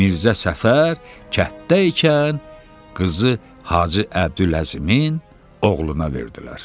Mirzə Səfər kənddə ikən qızı Hacı Əbdüləzimin oğluna verdilər.